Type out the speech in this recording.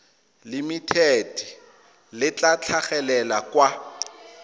limited le tla tlhagelela kwa